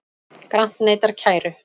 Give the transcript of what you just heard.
Grant neitar kæru